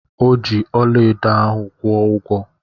Ọ ji ọlaedo ahụ kwụ ụgwọ.